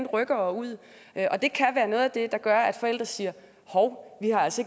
rykkere ud og det kan være noget af det der gør at forældre siger hov vi har altså